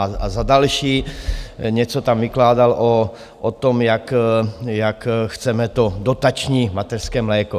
A za další něco tam vykládal o tom, jak chceme to dotační mateřské mléko.